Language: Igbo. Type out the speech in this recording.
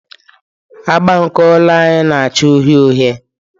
Agba nke ụlọ anyị na-acha uhie uhie.